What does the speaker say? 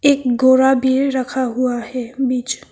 एक घोड़ा भी रखा हुआ है बीच में।